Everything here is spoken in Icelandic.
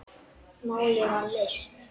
Málið var leyst.